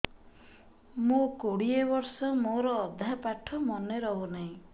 ମୋ କୋଡ଼ିଏ ବର୍ଷ ମୋର ଅଧା ପାଠ ମନେ ରହୁନାହିଁ